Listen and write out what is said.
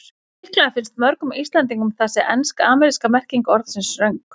Líklega finnst mörgum Íslendingum þessi ensk-ameríska merking orðsins röng.